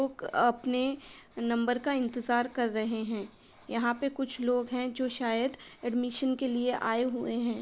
लोग अपने नंबर का इंतजार कर रहे हैं। यहाँ पे कुछ लोग है जो शायद एडमिशन के लिए आये हुए हैं।